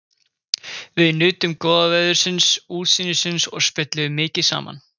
Við nutum góða veðursins, útsýnisins og spjölluðum mikið saman.